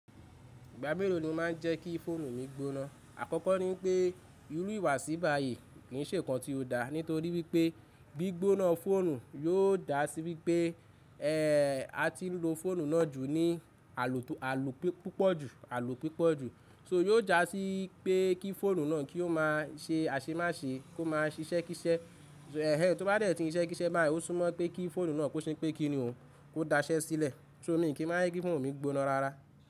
Ìgbà mélòó ni o máa n jẹ́ kí fóònù mi gbóná? Àkọ́kọ́ ni wipé, irú ìwà síbà yìí kì n ṣe nǹkan tí ó dá nítorí wípé gbí gbóná fóònù yóò dá sí wípé, e, a ti n lo fóònù náà jù ní àlò tó, àlò pọ̀ púpọ̀ jù, alo púpọ̀ jù. Ko yóò jásí pé kí fóònù náà kí ó má se àṣemáṣe, kó máa ṣíṣẹ́ kísẹ́. Ẹ̀hẹ́n tó bá dẹ̀ tííṣẹ́ kísẹ́ báyìí, ó súnmọ́ pé kí fóònù náà kó ṣe pé kí ni ò, kó daṣẹ́ sílẹ̀. So mí kì n máa ye kí fóònù mi gbóná rara.